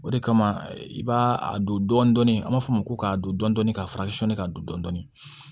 O de kama i b'a a don dɔɔnin dɔɔnin an b'a fɔ ma ko k'a don dɔndɔni k'a furakɛ sɔɔni ka don dɔɔnin